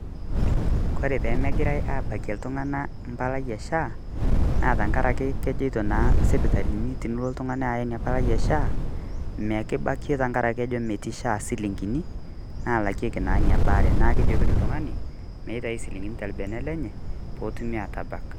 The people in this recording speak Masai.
Kore pee megirai aabakie iltung'ana empalai e SHA, naa tang'araki keijotoo naa sipitalini tiniloo ltung'ani ayaa enia mpalai e SHA neekibaakie tang'araki kejoo metii SHA silingini naalakeki naa enia baare naa kejokini ltung'ani meitaini silingini te beene lenye poo otum atabaak.